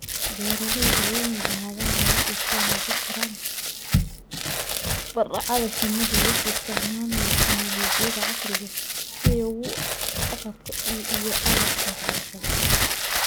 Beeralayda waa inay lahaadaan habab ay ku wanaajiyaan tababarka shinnida iyagoo isticmaalaya tignoolajiyada casriga ah iyo agabka waxbarashada.